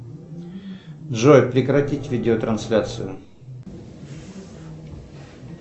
джой прекратить видеотрансляцию